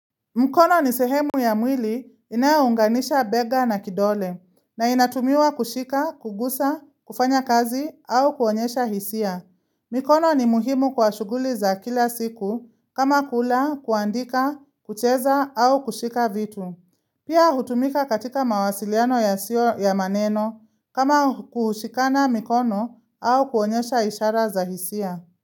Mkono ni sehemu ya mwili inayounganisha bega na kidole na inatumwa kushika, kugusa, kufanya kazi au kuonyesha hisia. Mikono ni muhimu kwa shughuli za kila siku kama kula, kuandika, kucheza au kushika vitu. Pia hutumika katika mawasiliano yasiyo ya maneno kama kushikana mikono au kuonyesha ishara za hisia.